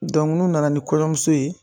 n'u nana ni kɔɲɔmuso ye.